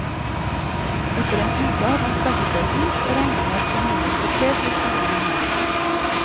Etter en uke hadde han skaffet seg hus og regner med at familien på tre blir boende her.